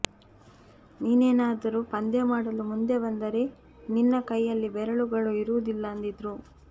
ನೀನೇನಾದರೂ ಪಂದ್ಯವಾಡಲು ಮುಂದೆ ಬಂದರೆ ನಿನ್ನ ಕೈಯಲ್ಲಿ ಬೆರಳುಗಳು ಇರುವುದಿಲ್ಲ ಅಂದಿದ್ರು